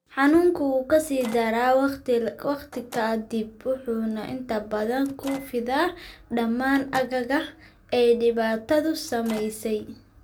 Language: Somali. Xanuunku wuu ka sii daraa wakhti ka dib wuxuuna inta badan ku fidaa dhammaan aagga ay dhibaatadu saameysey.